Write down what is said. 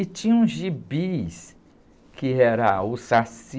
E tinha uns gibis que era o saci.